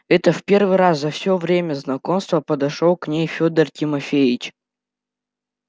это в первый раз за все время знакомства подошёл к ней федор тимофеич